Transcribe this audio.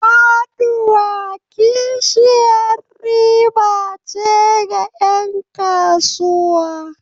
Faɗuwa kishiyar riba ce ga 'yan kasuwa.